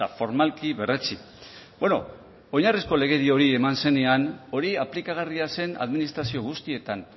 formalki berretsi beno oinarrizko legedi hori eman zenean hori aplikagarria zen administrazio guztietan